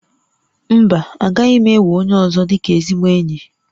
Mba, agaghị m enwe onye ọzọ dịka ezigbo enyi